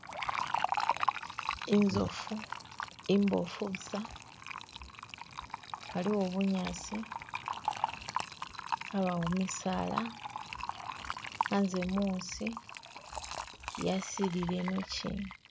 Inzofu imboofu busa haliwo bunyasi habawo misaala hanze musi yasilile inochina.